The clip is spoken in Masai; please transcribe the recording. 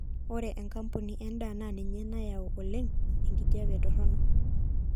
ore enkampuni endaa naa ninye nayau oleng enkijape toronok